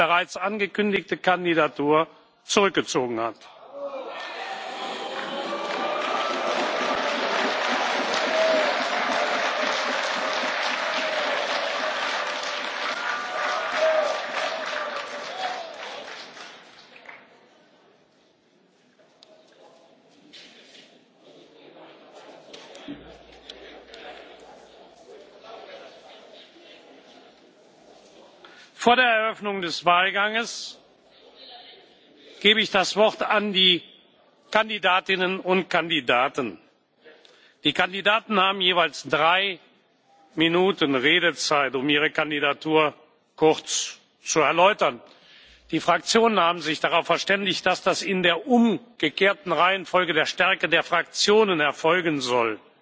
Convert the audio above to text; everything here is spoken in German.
seine bereits angekündigte Kandidatur zurückgezogen hat. Vor der Eröffnung des Wahlganges gebe ich den Kandidatinnen und Kandidaten das Wort. Die Kandidaten haben jeweils drei Minuten Redezeit, um ihre Kandidatur kurz zu erläutern. Die Fraktionen haben sich darauf verständigt, dass das in der umgekehrten Reihenfolge zur Stärke der Fraktionen erfolgen